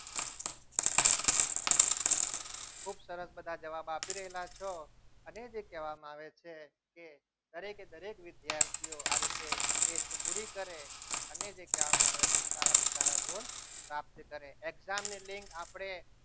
ખુબ સરસ બધા જવાબ આપી રહેલા છો અને જે કહેવામાં આવે છે કે દરેકે દરેક વિદ્યાર્થીઓ આ રીતે test પૂરી કરે અને જે કહેવામાં આવે છે સારામાં સારા ગુણ પ્રાપ્ત કરે છે exam ની લીંક આપણે